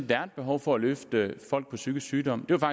der er et behov for at løfte folk med psykisk sygdom det var